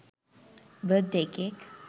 birth day cake